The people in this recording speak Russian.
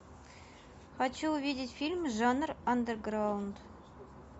хочу увидеть фильм жанр андеграунд